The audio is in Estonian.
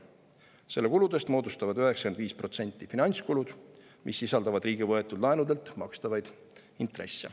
Selle kuludest moodustavad 95% finantskulud, mis sisaldavad riigi võetud laenudelt makstavaid intresse.